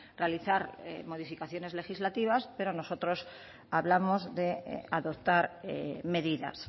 realizar modificaciones legislativas pero nosotros hablamos de adoptar medidas